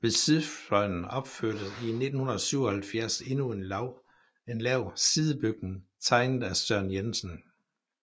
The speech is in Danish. Ved sydfløjen opførtes i 1977 endnu en lav sidebygning tegnet af Søren Jensen